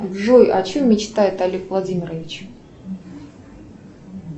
джой о чем мечтает олег владимирович